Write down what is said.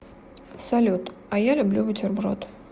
салют а я люблю бутерброд